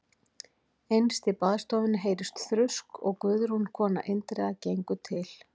Innst í baðstofunni heyrist þrusk og Guðrún kona Indriða gengur til